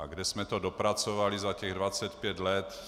A kam jsme to dopracovali za těch 25 let?